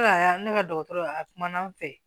ne ka dɔgɔtɔrɔya a kumana an fɛ